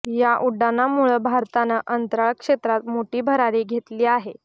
या उड्डाणामुळं भारतानं अंतराळ क्षेत्रात मोठी भरारी घेतली आहे